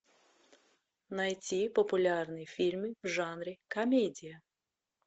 найти популярные фильмы в жанре комедия